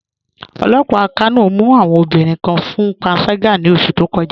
Ọlọ́pà Kano mù awọn obìnriǹ kàn fún pànságà ní ọṣù tó kọ̀já